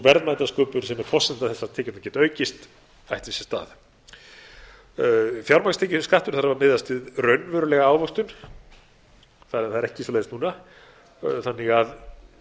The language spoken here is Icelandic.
verðmætasköpun sem er forsenda þess að tekjurnar geti aukist ættu sér stað fjármagnstekjuskattur þarf að miðast við raunverulega ávöxtun það er ekki þannig núna þannig að